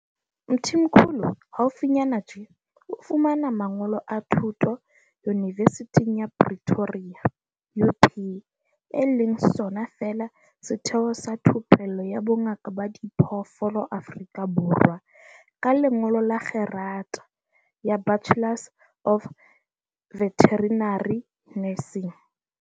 Mthimkhulu haufinyana tjena o fumane mangolo a thuto yunivesithing ya Pretoria UP, e leng sona feela setheo sa thupello ya bongaka ba diphoofolo Afrika Borwa, ka lengolo la kgerata ya Bachelors of Veterinary Nursing.